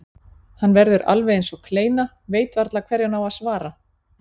Hann verður alveg eins og kleina, veit varla hverju hann á að svara.